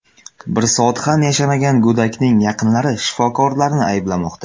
Bir soat ham yashamagan go‘dakning yaqinlari shifokorlarni ayblamoqda.